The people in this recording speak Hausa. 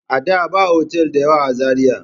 Ada ba otal da yawa a Zariya.